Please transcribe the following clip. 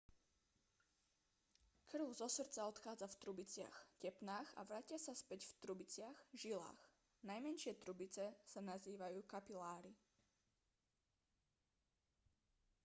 krv zo srdca odchádza v trubiciach tepnách a vracia sa späť v trubiciach žilách najmenšie trubice sa nazývajú kapiláry